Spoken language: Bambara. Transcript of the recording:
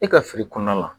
E ka fili kɔnɔna la